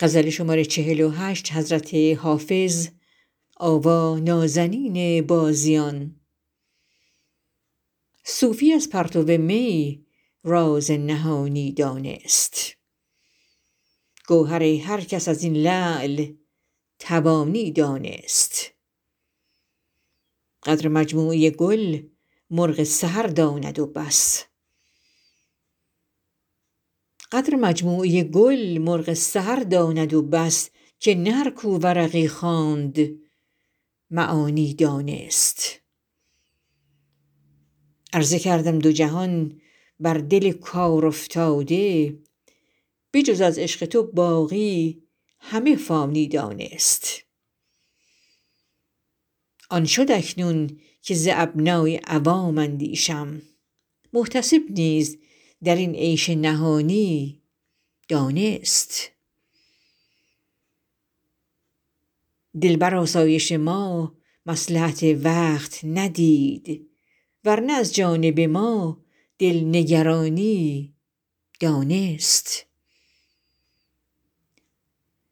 صوفی از پرتو می راز نهانی دانست گوهر هر کس از این لعل توانی دانست قدر مجموعه گل مرغ سحر داند و بس که نه هر کو ورقی خواند معانی دانست عرضه کردم دو جهان بر دل کارافتاده به جز از عشق تو باقی همه فانی دانست آن شد اکنون که ز ابنای عوام اندیشم محتسب نیز در این عیش نهانی دانست دل بر آسایش ما مصلحت وقت ندید ور نه از جانب ما دل نگرانی دانست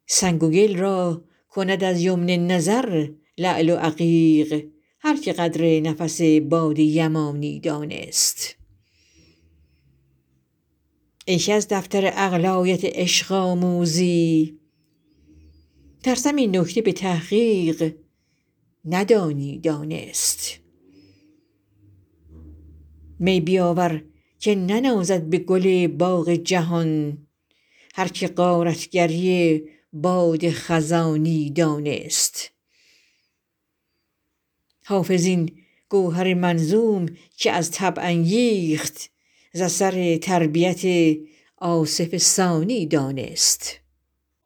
سنگ و گل را کند از یمن نظر لعل و عقیق هر که قدر نفس باد یمانی دانست ای که از دفتر عقل آیت عشق آموزی ترسم این نکته به تحقیق ندانی دانست می بیاور که ننازد به گل باغ جهان هر که غارت گری باد خزانی دانست حافظ این گوهر منظوم که از طبع انگیخت ز اثر تربیت آصف ثانی دانست